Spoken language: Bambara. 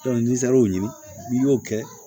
ni serar'o n'i y'o kɛ